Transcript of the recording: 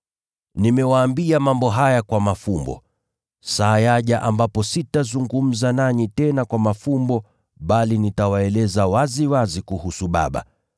“Nimewaambia mambo haya kwa mafumbo. Saa yaja ambapo sitazungumza nanyi tena kwa mafumbo bali nitawaeleza waziwazi kuhusu Baba.